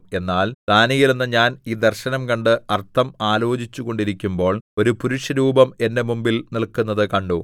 എന്നാൽ ദാനീയേലെന്ന ഞാൻ ഈ ദർശനം കണ്ട് അർത്ഥം ആലോചിച്ചുകൊണ്ടിരിക്കുമ്പോൾ ഒരു പുരുഷരൂപം എന്റെ മുമ്പിൽ നില്ക്കുന്നത് കണ്ടു